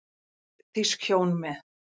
Þýsk hjón með